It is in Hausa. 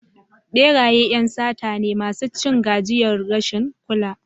Beraye ƴan sata ne masu cin gajiyar rashin kula.